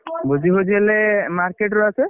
ଭୋଜି ଫୋଜି ହେଲେ market ରୁ ଆସେ।